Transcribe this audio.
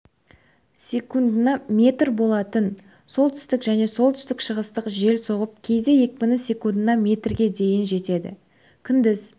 секундына метр болатын солтүстік және солтүстік-шығыстық жел соғып кейде екпіні секундына метрге дейін жетеді күндіз